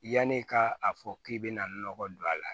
Yanni ka a fɔ k'i bɛna nɔgɔ don a la